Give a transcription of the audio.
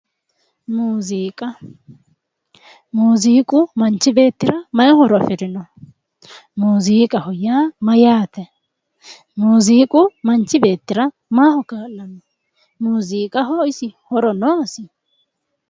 Muziiqa ,muziiqu manchi beettira mayi horo afirino, muziiqaho yaa mayate, muziiqu manchi beettira maaho kaa'lano, muziiqaho isi horo noosi ?